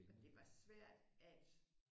Og det var svært at